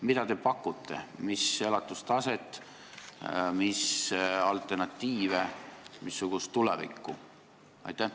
Mida te pakute, mis elatustaset, mis alternatiive, missugust tulevikku?